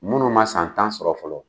Munnu ma san tan sɔrɔ fɔlɔ